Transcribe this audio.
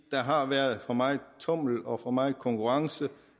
der har været for meget tummel og for meget konkurrence